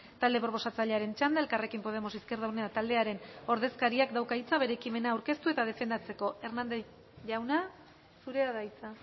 talde proposatzailearen txanda elkarrekin podemos izquierda unida taldearen ordezkariak dauka hitza bere ekimena aurkezteko eta defendatzeko hernández jauna zurea da hitza